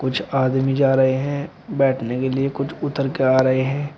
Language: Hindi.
कुछ आदमी जा रहे हैं बैठने के लिए कुछ उतर के आ रहे हैं।